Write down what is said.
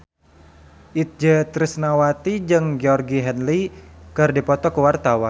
Itje Tresnawati jeung Georgie Henley keur dipoto ku wartawan